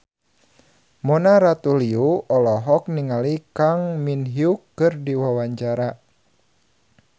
Mona Ratuliu olohok ningali Kang Min Hyuk keur diwawancara